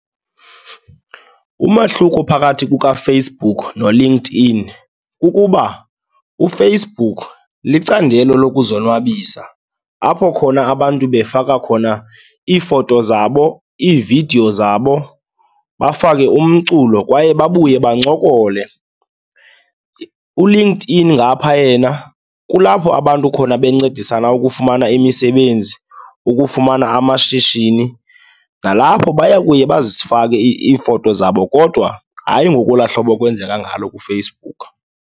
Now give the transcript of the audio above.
Umahluko phakathi kukaFacebook noLinkedIn kukuba uFacebook licandelo lokuzonwabisa apho khona abantu befaka khona iifoto zabo, iividiyo zabo, bafake umculo kwaye babuye bancokole. ULinkedIn ngapha yena kulapho abantu khona bencedisana ukufumana imisebenzi, ukufumana amashishini, nalapho baya kuye bazifake iifoto zabo kodwa hayi ngokwelaa hlobo kwenzeka ngalo kuFacebook.